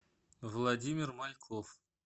владимир мальков